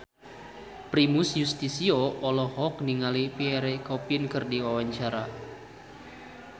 Primus Yustisio olohok ningali Pierre Coffin keur diwawancara